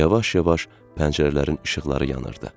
Yavaş-yavaş pəncərələrin işıqları yanırdı.